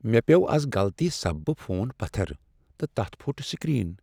مےٚ پیوٚو از غلطی سببہٕ فون پتھر تہٕ تتھ پھٹ سکریٖن۔